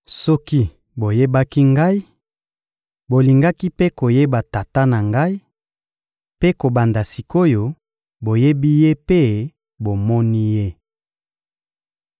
Soki boyebaki Ngai, bolingaki mpe koyeba Tata na Ngai; mpe kobanda sik’oyo, boyebi Ye mpe bomoni Ye.